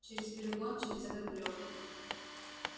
через перегон через этот гребаный